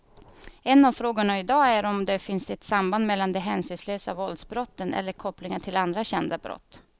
En av frågorna i dag är om det finns ett samband mellan de hänsynslösa våldsbrotten eller kopplingar till andra kända brott.